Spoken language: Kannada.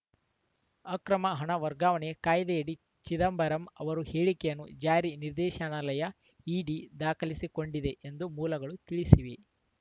ಅಕ್ರಮ ಹಣ ವರ್ಗಾವಣೆ ಕಾಯ್ದೆಯಡಿ ಚಿದಂಬರಂ ಅವರ ಹೇಳಿಕೆಯನ್ನು ಜಾರಿ ನಿರ್ದೇಶನಾಲಯ ಇಡಿ ದಾಖಲಿಸಿಕೊಂಡಿದೆ ಎಂದು ಮೂಲಗಳು ತಿಳಿಸಿವೆ